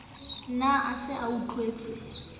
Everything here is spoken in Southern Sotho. ne a se a utlwetse